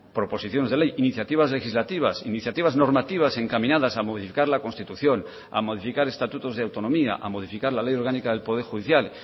proposiciones de ley iniciativas legislativas iniciativas normativas encaminadas a modificar la constitución a modificar estatutos de autonomía a modificar la ley orgánica del poder judicial